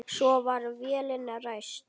Svo var vélin ræst.